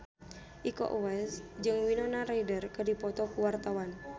Iko Uwais jeung Winona Ryder keur dipoto ku wartawan